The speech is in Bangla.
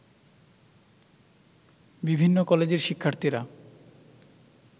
বিভিন্ন কলেজের শিক্ষার্থীরা